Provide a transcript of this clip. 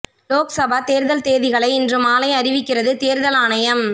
லோக் சபா தேர்தல் தேதிகளை இன்று மாலை அறிவிக்கிறது தேர்தல் ஆணையம்